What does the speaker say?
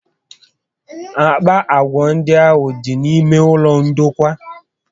Àkpà agwà ndị ahụ dị n'ime ụlọ ndokwa